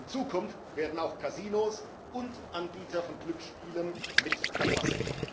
In Zukunft werden auch Kasinos und Anbieter von Glücksspielen mit erfasst.